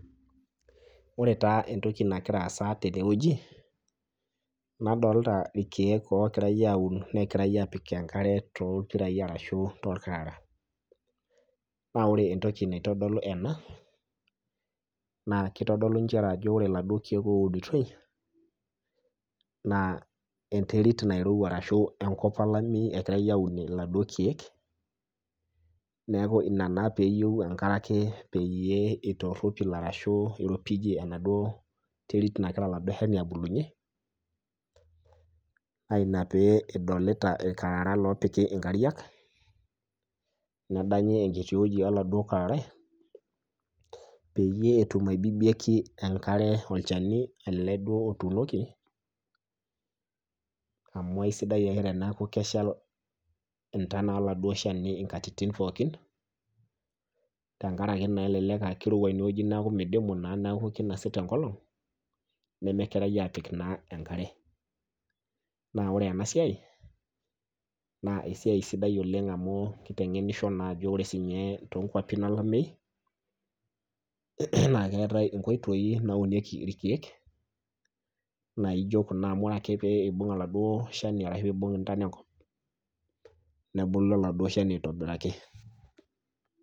Ore taa entoki nagiraa aasa teneweji ,nadolita irkeek ogirae aun ashu lopikitae enkare toorkarara .naa ore entoki naitodolu ena kitodolu ajo ore laduo keek ounitoi naa enterit ashu enkop olameyu egiare aunie laduo keek ,naaku naa ina pee eyieu enkare pee eitoropil ashu pee eiropijie enaduo terit nagira oladuo shani abulunyie ,naa ina pee idolita irkarara loopiki nkariak ,nedanyi enkiti weji oladuo ararai pee etum aibibiaki enkare oladuo shani otuunoki amu eisidai ake teneeku keshal ntonat oladuo shani nkatitin pookin, tenkaraki naa kelelek aa kirowua eneweji neeku meidimu naa neeku kinosita enkolong nemegirae apik naa enkare .naa ore ena siai naa esiai sidai oleng amu kitengenisho naa ajo ore siininye tookwapin olameyu naa keetae nkoitoi nauniekei irkeek naijo Kuna amu ore ake pee eimung naduo tona enkop nebulu oladuo shani aitobiraki.